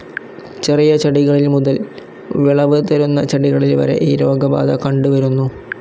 ചെറിയ ചെടികളിൽ മുതൽ വിളവ് തരുന്ന ചെടികളിൽ വരെ ഈ രോഗബാധ കണ്ട് വരുന്നു.